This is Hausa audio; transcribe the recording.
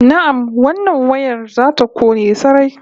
Na'am, wannan wayar za ta kone sarai